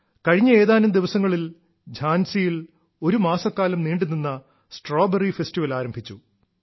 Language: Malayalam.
കഴിഞ്ഞ ഏതാനും ദിവസങ്ങളിൽ ഝാൻസിയിൽ ഒരുമാസക്കാലം നീണ്ടുനിന്ന സ്ട്രോബെറി ഫെസ്റ്റിവൽ ആരംഭിച്ചു